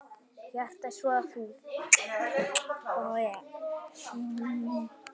Hjartað svo þungt.